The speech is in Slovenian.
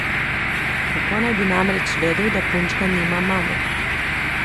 Kako naj bi namreč vedel, da punčka nima mame?